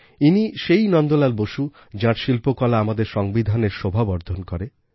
ইনি সেই নন্দলাল বোস যাঁর শিল্পকলা আমাদের সংবিধানের শোভাবর্ধন করে